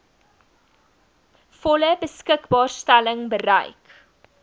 volle beskikbaarstelling bereik